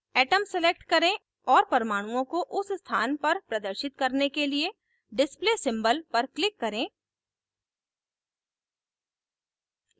atom select करें और परमाणुओं को उस स्थान पर प्रदर्शित करने के लिए display symbol पर click करें